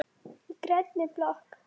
Í grænni blokk